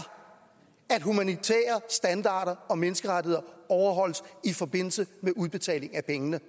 at humanitære standarder og menneskerettigheder overholdes i forbindelse med udbetaling af pengene